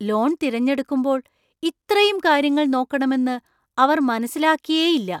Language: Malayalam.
ലോൺ തിരഞ്ഞെടുക്കുമ്പോൾ ഇത്രയും കാര്യങ്ങൾ നോക്കണമെന്ന് അവർ മനസ്സിലാക്കിയേയില്ല!